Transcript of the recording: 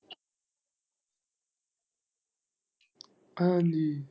ਹਾਂਜੀ।